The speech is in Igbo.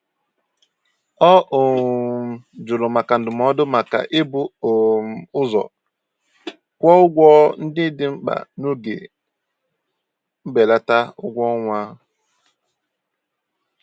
Ọ um jụrụ maka ndụmọdụ maka ibu um ụzọ kwụ ụgwọ ndị dị mkpa n'oge mbelata ụgwọọnwa.